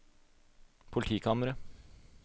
politikammer